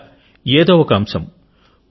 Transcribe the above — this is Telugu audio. ఇలా ఏదో ఒక అంశం